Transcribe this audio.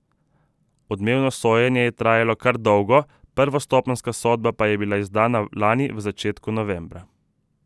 Odmevno sojenje je trajalo kar dolgo, prvostopenjska sodba pa je bila izdana lani v začetku novembra.